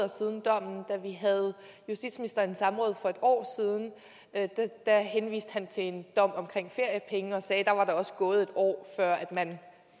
siden dommen og da vi havde justitsministeren i samråd for et år siden henviste han til en dom om feriepenge og sagde at der var der også gået et år før man